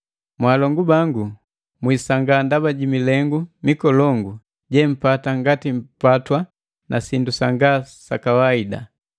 Mwaalongu bangu, mwisangaa ndaba ji milengu mikolongu jempata ngati mpatwa na sindu sanga sa kawaida.